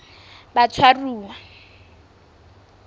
batshwaruwa